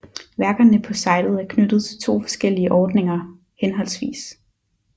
Værkerne på sitet er knyttet til to forskellige ordninger hhv